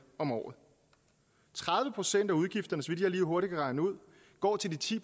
om året tredive procent af udgifterne så vidt jeg lige hurtigt kan regne ud går til de ti